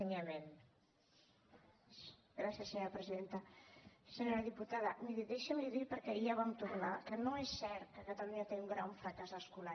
senyora diputada miri deixi’m dir li perquè ja hi vam tornar que no és cert que catalunya tingui un gran fracàs escolar